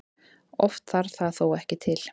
Oft þarf það þó ekki til.